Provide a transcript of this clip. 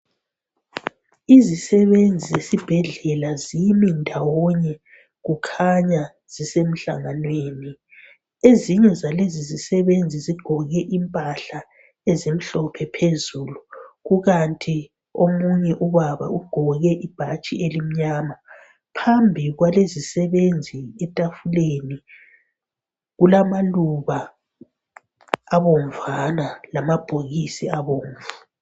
Izisebenzi zesibhedlela zimi ndawonye kukhanya zisemhlanganweni. Ezinye zalezi zisebenzi zigqoke impahla ezimhlophe phezulu. Kukanti omunye ubaba ugqoke ibhatshi elimnyama . Phambi kwalezi zisebenzi etafuleni kulamaluba abomvana lamabhokisi abomvu.